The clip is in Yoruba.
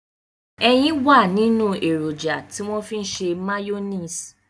Ẹyin wà nínú èròjà tí wọ́n fi ń ṣe máyóníìsì